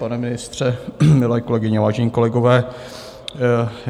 Pane ministře, milé kolegyně, vážení kolegové.